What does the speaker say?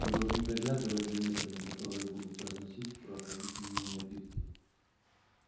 вы должны приглядывать за неграми которые будут разносить прохладительные напитки